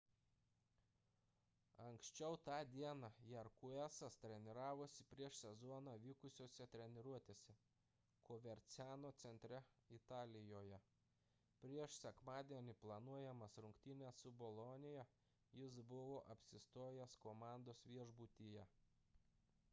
anksčiau tą dieną jarque'as treniravosi prieš sezoną vykusiose treniruotėse coverciano centre italijoje prieš sekmadienį planuojamas rungtynes su bolonija jis buvo apsistojęs komandos viešbutyje